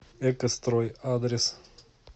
экострой адрес